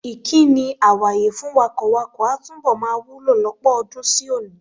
Ìkíni "àwàye" fún wakọ̀wakọ̀ a túbọ̀ máa wúlò lọ́pọ̀ ọdún sí òní.